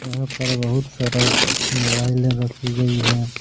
यहां पर बहुत सारा मोबाइले रखी गई है।